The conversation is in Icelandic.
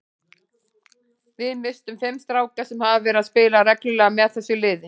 Við misstum fimm stráka sem hafa verið að spila reglulega með þessu liði.